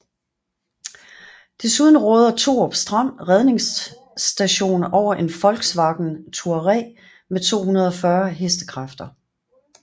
Desuden råder Thorup Strand Redningsstation over en Volkswagen Touareg med 240 hk